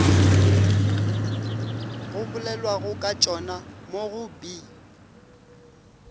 go bolelwagokatšona mo go b